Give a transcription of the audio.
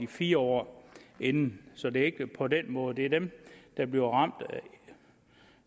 fire år inden så det er ikke på den måde det er dem der bliver ramt